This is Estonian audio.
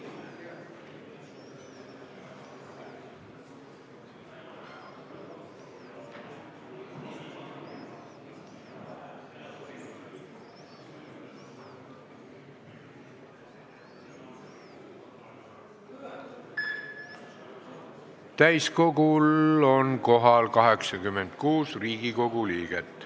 Kohaloleku kontroll Täiskogul on kohal 86 Riigikogu liiget.